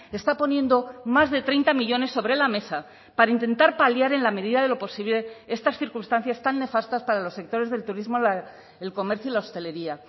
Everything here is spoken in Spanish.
está poniendo más de treinta millónes sobre la mesa para intentar paliar en la medida de lo posible estas circunstancias tan nefastas para los sectores del turismo el comercio y la hostelería